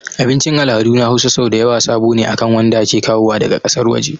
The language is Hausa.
Abicin al'adu na Hausa sau dayawa sabo ne akan wanda ake kawowa daga ƙasar waje